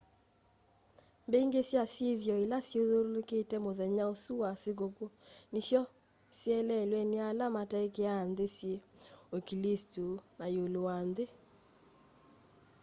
mbingi sya syithio ila syithyululukite muthenya usu wa sikuku nisyoseleelwe ni ala mataikiiaa nthi syi uklisito na iulu wanthi